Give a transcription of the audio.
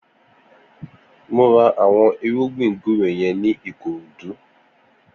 Mó rà awọn irùgbin gbùré yèn ni Ikorodu